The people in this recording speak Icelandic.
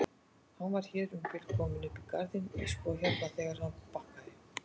Hann var hér um bil kominn upp í garðinn sko hérna þegar hann bakkaði.